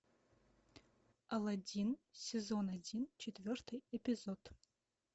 алладин сезон один четвертый эпизод